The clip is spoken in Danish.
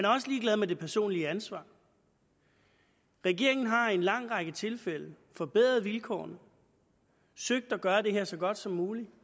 også ligeglad med det personlige ansvar regeringen har i en lang række tilfælde forbedret vilkårene og søgt at gøre det her så godt som muligt